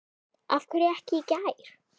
Af hverju ekki í gær?